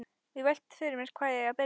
Og velti fyrir mér hvar eigi að byrja.